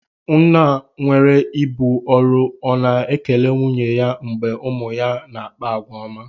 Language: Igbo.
Nna nwere ibu ọrụ ọ̀ na ekele nwunye ya mgbe ụmụ ya na-akpa àgwà ọma?